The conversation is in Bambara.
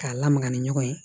K'a lamaga ni ɲɔgɔn ye